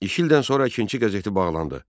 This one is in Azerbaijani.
İki ildən sonra əkinçi qəzeti bağlandı.